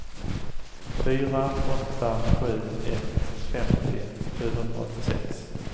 fyra åtta sju ett femtio sjuhundraåttiosex